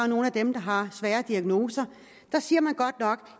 nogle af dem der har svære diagnoser siger man godt nok